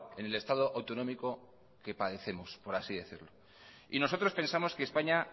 en el estado autonómico que padecemos por así decirlo y nosotros pensamos que españa